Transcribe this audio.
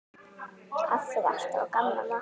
Kaffið alltaf á gamla mátann.